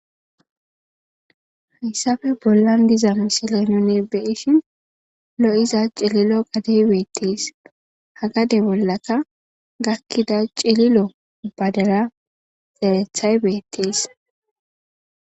Hayssafe bollan diza misilenone beyishin lo'iza cililo gadey beettis hagade bollaka gakkida cililo badara xarethay beettiis.